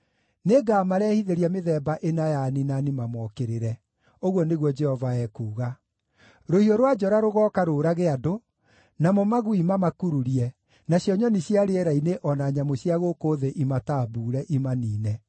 “Nĩngamarehithĩria mĩthemba ĩna ya aniinani mamookĩrĩre.” ũguo nĩguo Jehova ekuuga, “Rũhiũ rwa njora rũgooka rũũrage andũ, namo magui mamakururie, nacio nyoni cia rĩera-inĩ, o na nyamũ cia gũkũ thĩ imatambuure, imaniine.